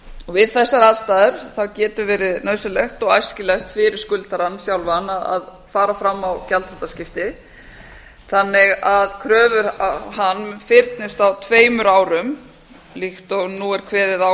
við þessar aðstæður getur verið nauðsynlegt og æskilegt fyrir skuldarann sjálfan að fara fram á gjaldþrotaskipti þannig að kröfur á hann fyrnist á tveimur árum líkt og nú er kveðið á